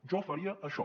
jo faria això